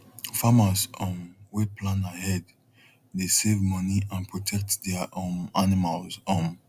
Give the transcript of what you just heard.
farmers um wey plan ahead dey save money and protect their um animals um